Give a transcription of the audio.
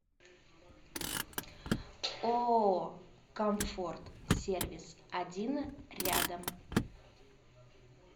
ооо комфорт сервис один рядом